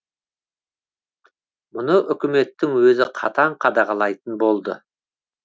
мұны үкіметтің өзі қатаң қадағалайтын болды